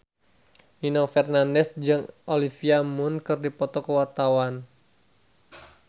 Nino Fernandez jeung Olivia Munn keur dipoto ku wartawan